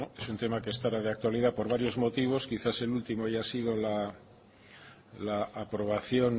es un tema que está ahora de actualidad por varios motivos quizás el último haya sido la aprobación